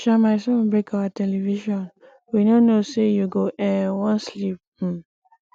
um my son break our television we no know say you go um wan sleep um